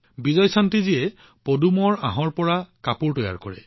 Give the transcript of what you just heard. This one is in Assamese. বিজয়শান্তিজীয়ে পদুমৰ আঁহৰ পৰা কাপোৰ তৈয়াৰ কৰে